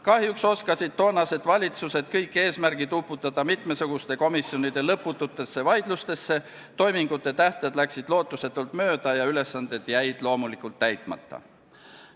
Kahjuks oskasid toonased valitsused uputada kõik eesmärgid mitmesuguste komisjonide lõpututesse vaidlustesse, toimingute tähtajad läksid lootuselt mööda ja ülesanded jäid loomulikult täitmata.